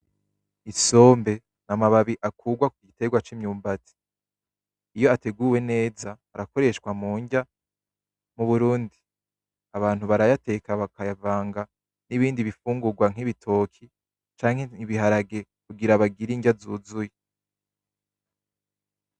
Isombe n'amababi akurwa ku gitegwa c'imyumbati iyo ateguwe neza arakoreshwa mundya. Mu Burundi abantu barayateka bakayavanga n'ibindi bifungurwa nk'ibitoki canke ibiharage kugira bagira indya zuzuye.